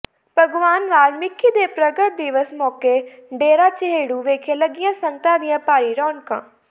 ਭਗਵਾਨ ਵਾਲਮੀਕਿ ਦੇ ਪ੍ਰਗਟ ਦਿਵਸ ਮੌਕੇ ਡੇਰਾ ਚਹੇੜੂ ਵਿਖੇ ਲੱਗੀਆਂ ਸੰਗਤਾਂ ਦੀਆਂ ਭਾਰੀ ਰੌਣਕਾਂ